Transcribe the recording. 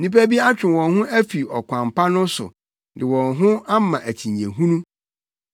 Nnipa bi atwe wɔn ho afi ɔkwan pa no so de wɔn ho ama akyinnye hunu.